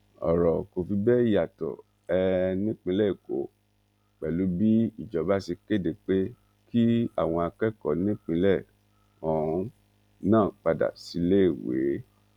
ọrọ kò fi bẹẹ yàtọ um nípìnlẹ èkó pẹlú bí ìjọba ṣe kéde pé kí àwọn akẹkọọ nípìnlẹ um náà padà síléèwé